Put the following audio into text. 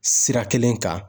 Sira kelen kan.